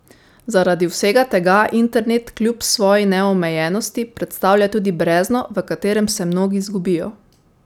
Zaradi vsega tega internet kljub svoji neomejenosti predstavlja tudi brezno, v katerem se mnogi izgubijo.